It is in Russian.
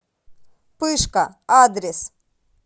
пышка адрес